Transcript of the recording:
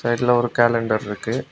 சைடுல ஒரு கேலண்டர் இருக்கு.